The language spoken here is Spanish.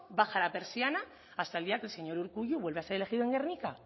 baja la persiana hasta el día que el señor urkullu vuelve a ser elegido en gernika